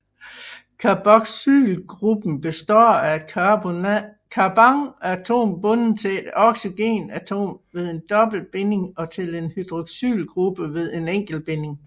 Carboxylgruppen består af et carbonatom bundet til et oxygenatom ved en dobbeltbinding og til en hydroxylgruppe ved en enkeltbinding